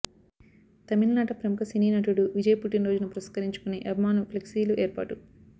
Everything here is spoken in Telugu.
తమిళనాట ప్రముఖ సినీ నటుడు విజయ్ పుట్టినరోజును పురస్కరించుకుని అభిమానులు ఫ్లెక్సీలు ఏర్పాటు